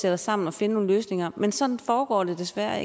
os sammen og finde nogle løsninger men sådan foregår det desværre